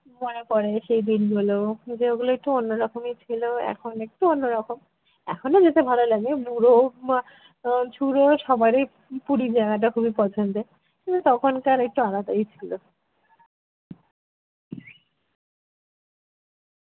মনে পড়ে সেই দিনগুলো যেগুলো একটু অন্যরকমই ছিল এখন একটু অন্যরকম। এখনো যেতে ভালো লাগে বুড়ো মা আহ ছুড়ো সবার এই পুরী জায়গাটা খুবই পছন্দের কিন্তু তখনকার একটু আলাদাই ছিল।